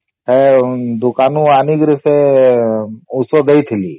ହେ ଦୁକାନ ରୁ ଏଣିକି ସେ ଔଷଧ ଦେଇଥିଲି